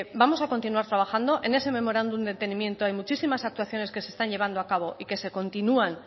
vamos a continuar trabajando en ese memorándum de entendimiento y muchísimas actuaciones que se están llevando a cabo y que se continúan